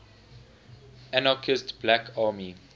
anarchist black army